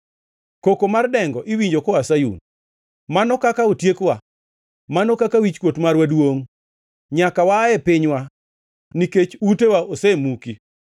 Koko mar dengo iwinjo koa Sayun: ‘Mano kaka otiekowa! Mano kaka wichkuot marwa duongʼ! Nyaka waa e pinywa nikech utewa osemuki.’ ”